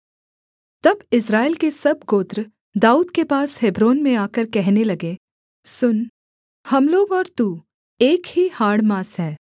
तब इस्राएल के सब गोत्र दाऊद के पास हेब्रोन में आकर कहने लगे सुन हम लोग और तू एक ही हाड़ माँस हैं